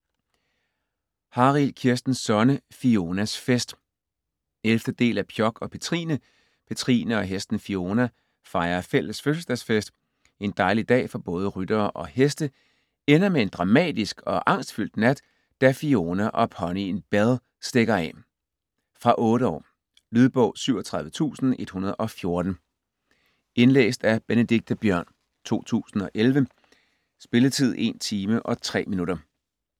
Harild, Kirsten Sonne: Fionas fest 11. del af Pjok og Petrine. Petrine og hesten Fiona fejrer fælles fødselsdagsfest. En dejlig dag for både ryttere og heste ender med en dramatisk og angstfyldt nat, da Fiona og ponyen Belle stikker af. Fra 8 år. Lydbog 37114 Indlæst af Benedikte Biørn, 2011. Spilletid: 1 timer, 3 minutter.